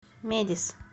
медис